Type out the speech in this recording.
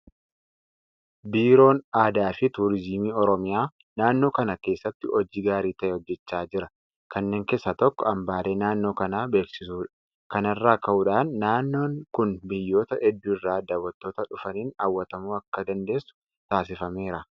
Biiroon aadaafi turiizimii Oromiyaa naannoo kana keessatti hojii gaarii ta'e hojjechaa jira. Kanneen keessaa tokko hambaalee naannoo kanaa beeksisuudha. Kana irraa ka'uudhaan naannoon kun biyyoota hedduu irraa daawwattoota dhufaniin hawwatamuu akka dandeessu taasifameera.